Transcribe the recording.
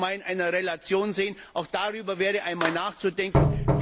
Das sollten wir mal in einer Relation sehen, auch darüber wäre einmal nachzudenken.